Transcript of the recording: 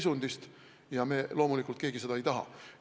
Seda me keegi loomulikult ei taha.